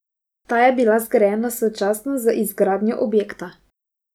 Ta je bila zgrajena sočasno z izgradnjo objekta.